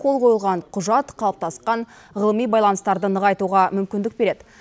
қол қойылған құжат қалыптасқан ғылыми байланыстарды нығайтуға мүмкіндік береді